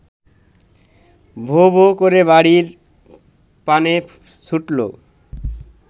ভোঁ-ভোঁ করে বাড়ির পানে ছুটল